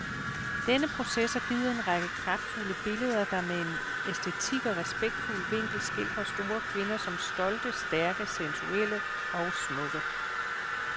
Denne proces har givet en række kraftfulde billeder, der med en æstetisk og respektfuld vinkel skildrer store kvinder som stolte, stærke, sensuelle og smukke.